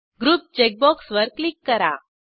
group check बॉक्सवर click करा